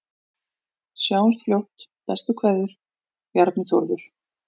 Sjáumst fljótt, bestu kveðjur: Bjarni Þórður